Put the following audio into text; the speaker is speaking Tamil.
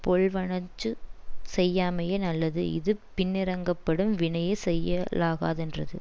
பொல்வனஞ்சு செய்யாமையே நல்லது இது பின்னிரங்கப்படும் வினையை செய்யலாகாதென்றது